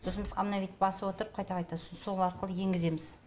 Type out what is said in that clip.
сосын біз обновить басып отырып қайта қайта сосын сол арқылы енгіземіз